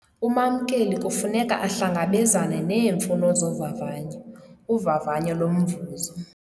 Umamkeli kufuneka ahlangabezane neemfuno zovavanyo, uvavanyo lomvuzo.